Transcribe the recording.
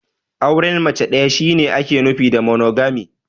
Auren mace ɗaya shi ne ake nufi da "Monogamy".